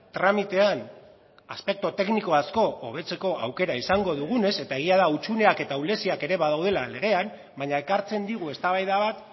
tramitean aspektu tekniko asko hobetzeko aukera izango dugunez eta egia da hutsuneak eta ahuleziak ere badaudela legean baina ekartzen digu eztabaida bat